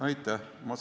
Aitäh!